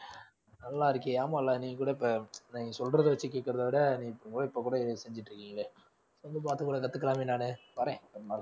நல்லா இருக்கே ஆமால நீங்க கூட இப்ப நீ சொல்றது வச்சு கேட்கிறதை விட இப்ப கூட இதை செஞ்சுட்டு இருக்கீங்களே கொஞ்சம் பாத்துக்கூட கத்துக்கலாமே நானு வர்றேன் ஒருநாள்